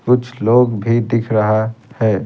कुछ लोग भी दिख रहा है।